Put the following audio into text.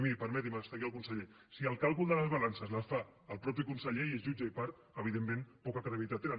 i miri permeti’m que està aquí el conseller si el càlcul de les balances les fa el mateix conseller que és jutge i part evidentment poca credibilitat tenen